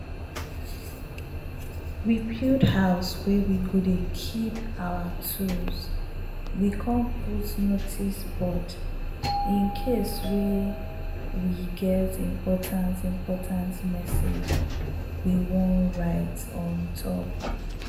we bulld house wey we go dey keep our tools we come put notice board incase wey get important important message we we wan write ontop.